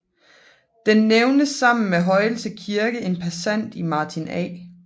Den nævnes sammen med Højelse Kirke en passant i Martin A